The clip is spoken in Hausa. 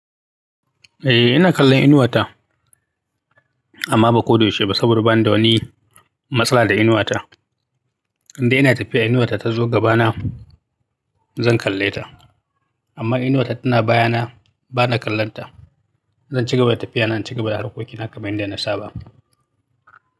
Eh ina kallon inuwa ta amma ba ko da yaushe ba saboda bani da wani matsala da inuwa ta. Indai ina tafiya inuwa ta tazo gabana zan kalle ta amma inuwa ta tana baya na bana kallon ta. Zan cigaba da tafiya na in cigaba da harkokina kamar yadda na saba.